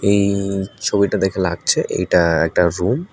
এই ছবিটা দেখে লাগছে এইটা একটা রুম ।